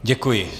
Děkuji.